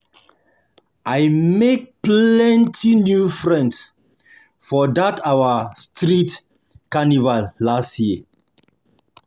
I make plenty new friends for dat our street carnival last year.